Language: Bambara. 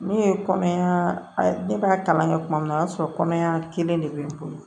Ne ye kɔnɔmaya ne b'a kalan kɛ tuma min na o y'a sɔrɔ kɔnɔya kelen de bɛ n bolo